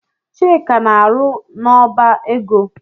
Chika na-arụ n'ọbá égo.